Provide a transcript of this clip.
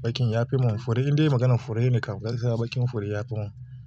Baƙin ya fi mun. Fure indai maganan fure ne kam gaskiya baƙin fure ya fi mun.